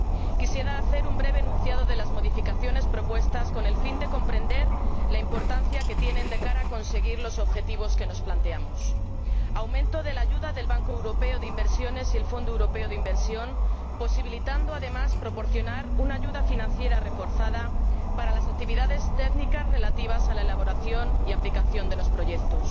Quisiera hacer un breve enunciado de las modificaciones propuestas, con el fin de que se comprenda la importancia que tienen con miras a conseguir los objetivos que nos planteamos aumento de la ayuda del Banco Europeo de Inversiones y el Fondo Europeo de Inversión, posibilitando además una ayuda financiera reforzada para las actividades técnicas relativas a la elaboración y aplicación de los proyectos